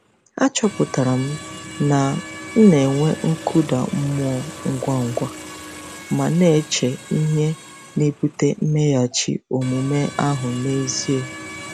Achọpụtara m na m na-enwe nkụda mmụọ ngwa ngwa ma na-eche ihe na-ebute mmeghachi omume ahụ n'ezie.